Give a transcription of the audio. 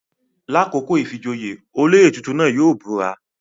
Lakoko ìfijoyé, oloyè titun náa yóò bura